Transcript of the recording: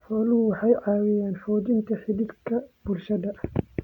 Xooluhu waxay caawiyaan xoojinta xidhiidhka bulshada.